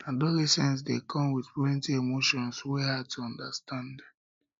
adolescence dey come with plenty emotions wey hard to understand understand